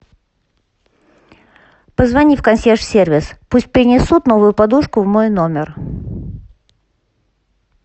позвони в консьерж сервис пусть принесут новую подушку в мой номер